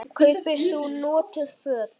Kaupir þú notuð föt?